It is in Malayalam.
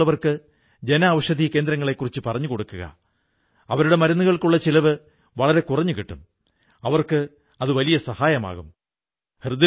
നിങ്ങൾക്ക് ഈ വെബ്സൈറ്റിൽ നിങ്ങളുടെ പങ്കും നല്കാം ഉദാഹരണത്തിന് വിവിധ സംസ്ഥാനങ്ങളിലും സംസ്കാരത്തിലും വ്യത്യസ്തങ്ങളായ ആഹാരരീതികകളാണുള്ളത്